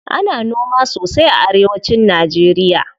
Ana noma sosai a arewa cin najeriya.